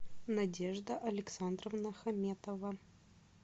надежда александровна хаметова